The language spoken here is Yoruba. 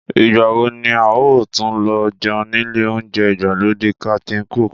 Ìgbà wo ni a óò tún lọ jẹun nílé oúnjẹ ìgbàlódé Captain Cook?